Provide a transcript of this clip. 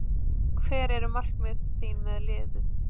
Hver eru markmið þín með liðið?